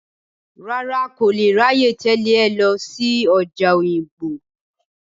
Rárá, n kò lè ráyè tẹ̀lé ẹ lọ sí ọjà Òyìngbò.